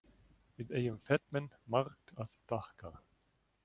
Við eigum Fat-Man margt að þakka.